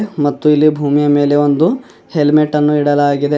ಮತ್ತು ಇಲ್ಲಿ ಭೂಮಿಯ ಮೇಲೆ ಒಂದು ಹೆಲ್ಮೆಟ್ ಅನ್ನು ಇಡಲಾಗಿದೆ.